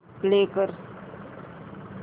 play कर